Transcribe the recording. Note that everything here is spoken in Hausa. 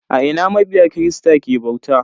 A ina mabiya kirista ke bauta?